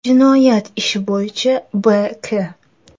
Jinoyat ishi bo‘yicha B.K.